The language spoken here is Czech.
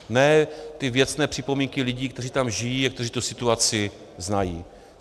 Ne ty věcné připomínky lidí, kteří tam žijí a kteří tu situaci znají.